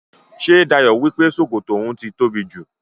Ṣé Dayọ̀ wípé sókótó oun ti tóbi jù?